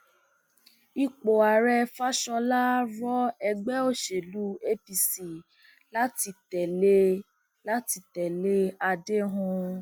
ipò ààrẹ faṣhólà rọ ẹgbẹ òsèlú apc láti tẹlé láti tẹlé àdéhùn